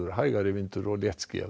hægari og léttskýjað